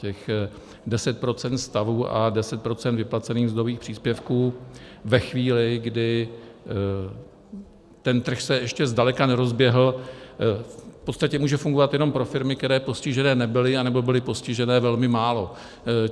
Těch 10 % stavů a 10 % vyplacených mzdových příspěvků ve chvíli, kdy ten trh se ještě zdaleka nerozběhl, v podstatě může fungovat jenom pro firmy, které postižené nebyly, anebo byly postižené velmi málo.